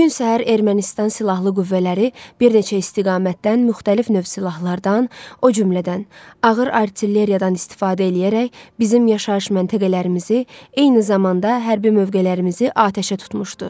Bu gün səhər Ermənistan silahlı qüvvələri bir neçə istiqamətdən müxtəlif növ silahlardan, o cümlədən ağır artilleriyadan istifadə eləyərək bizim yaşayış məntəqələrimizi, eyni zamanda hərbi mövqelərimizi atəşə tutmuşdu.